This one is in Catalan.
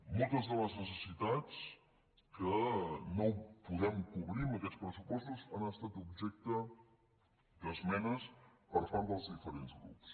moltes de les necessitats que no podem cobrir amb aquests pressupostos han estat objecte d’esmenes per part dels diferents grups